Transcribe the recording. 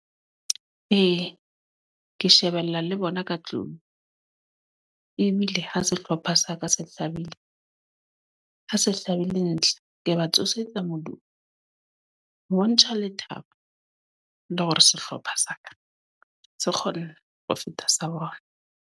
Ee, ke shebella le bona ka tlung. Ebile ha sehlopha sa ka se hlabile, ha se hlabile ntlha. Ke ba tsosetsa modumo, ho bontsha lethabo le hore sehlopha sa ka se kgona ho feta sa bona.